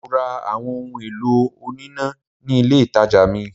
Mo ra àwọn ohun èlò oníná ní ilé ìtàjà mill.